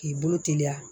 K'i bolo teliya